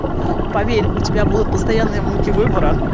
поверь у тебя будут постоянные муки выбора